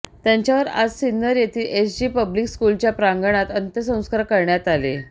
त्यांच्यावर आज सिन्नर येथील एसजी पब्लिक स्कुलच्या प्रांगणात अंत्यसंस्कार करण्यात आले